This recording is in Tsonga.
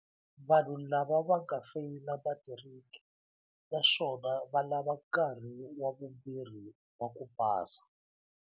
Vanhu lava va nga feyila matiriki naswona va lava nkarhi wa vumbirhi wa ku pasa.